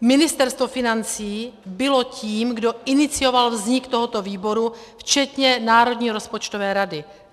Ministerstvo financí bylo tím, kdo inicioval vznik tohoto výboru včetně Národní rozpočtové rady.